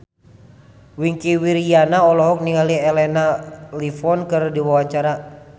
Wingky Wiryawan olohok ningali Elena Levon keur diwawancara